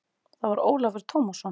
Það var Ólafur Tómasson.